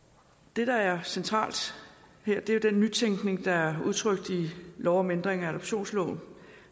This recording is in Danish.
det der er centralt her er jo den nytænkning der er udtrykt i lov om ændring af adoptionsloven